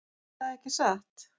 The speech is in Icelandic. Erða ekki satt?